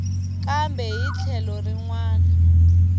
kambe hi tlhelo rin wana